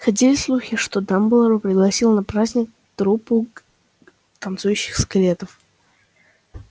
ходили слухи что дамблдор пригласил на праздник труппу танцующих скелетов